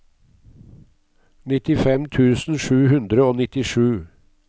nittifem tusen sju hundre og nittisju